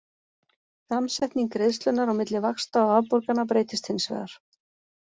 Samsetning greiðslunnar á milli vaxta og afborgana breytist hins vegar.